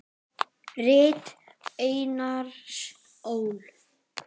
Rit Einars Ól.